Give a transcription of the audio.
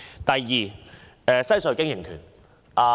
第二，西隧經營權。